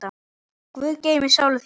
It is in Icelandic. Guð geymi sálu þína.